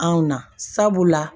Anw na sabula